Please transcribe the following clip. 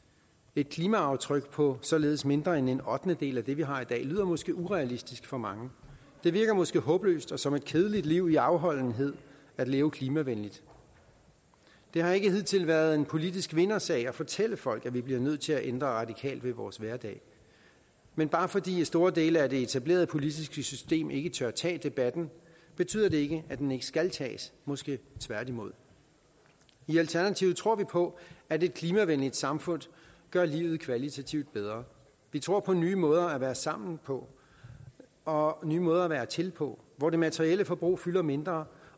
et klimaaftryk på således mindre end en ottendedel af det vi har i dag lyder måske urealistisk for mange det virker måske håbløst og som et kedeligt liv i afholdenhed at leve klimavenligt det har ikke hidtil været en politisk vindersag at fortælle folk at vi bliver nødt til at ændre radikalt ved vores hverdag men bare fordi store dele af det etablerede politiske system ikke tør tage debatten betyder det ikke at den ikke skal tages måske tværtimod i alternativet tror vi på at et klimavenligt samfund gør livet kvalitativt bedre vi tror på nye måder at være sammen på og nye måder at være til på hvor det materielle forbrug fylder mindre